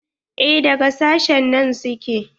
Eh daga sashen nan su ke.